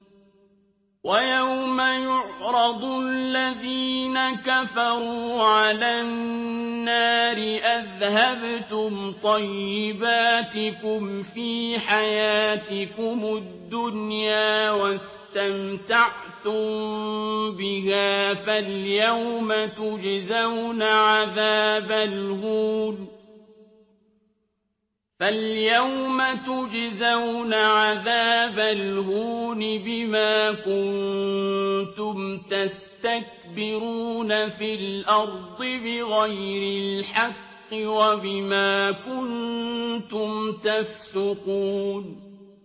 وَيَوْمَ يُعْرَضُ الَّذِينَ كَفَرُوا عَلَى النَّارِ أَذْهَبْتُمْ طَيِّبَاتِكُمْ فِي حَيَاتِكُمُ الدُّنْيَا وَاسْتَمْتَعْتُم بِهَا فَالْيَوْمَ تُجْزَوْنَ عَذَابَ الْهُونِ بِمَا كُنتُمْ تَسْتَكْبِرُونَ فِي الْأَرْضِ بِغَيْرِ الْحَقِّ وَبِمَا كُنتُمْ تَفْسُقُونَ